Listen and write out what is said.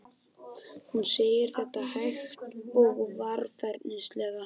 Hún segir þetta hægt og varfærnislega.